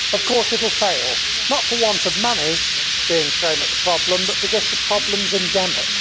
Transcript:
Of course it will fail not for want of money being thrown at the problem, but because the problem is endemic.